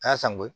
A y'a san ko ye